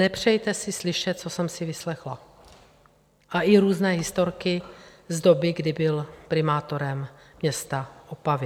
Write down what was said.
Nepřejte si slyšet, co jsem si vyslechla, a i různé historky z doby, kdy byl primátorem města Opavy.